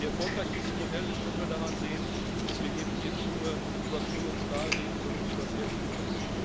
Wie erfolgreich dieses Modell ist, können wir daran sehen, dass wir eben hier nicht nur über Kohle und Stahl reden, sondern über sehr viel mehr.